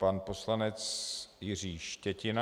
Pan poslanec Jiří Štětina.